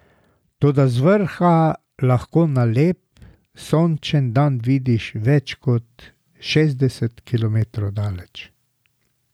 Toda z vrha lahko na lep, sončen dan vidiš več kot šestdeset kilometrov daleč.